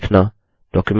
documents को print करना